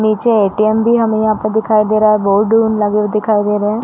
नीचे एटीएम भी हमे यहाँ पर दिखाई दे रहा है। बोर्ड लगे हुऐ दिखाई दे रहे हैं।